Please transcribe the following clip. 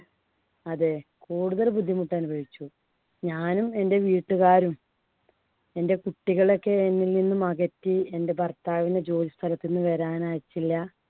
അതെ കൂടുതൽ ബുദ്ധിമുട്ട് അനുഭവിച്ചു. ഞാനും എൻടെ വീട്ടുകാരും എൻടെ കുട്ടികളെയൊക്കെ എന്നിൽ നിന്നും അകറ്റി. എന്‍ടെ ഭർത്താവിന് ജോലിസ്ഥലത്ത് നിന്നും വരാൻ അയച്ചില്ല.